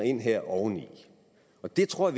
ind her oveni og dem tror